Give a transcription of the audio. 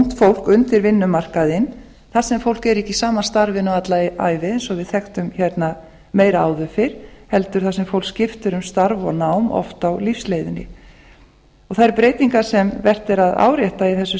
ungt fólk undir vinnumarkaðinn þar sem fólk er ekki í sama starfinu alla ævi eins og við þekktum hérna meira áður fyrr heldur þar sem fólk skiptir um starf og nám oft á lífsleiðinni og þær breytingar sem vert er að árétta í þessu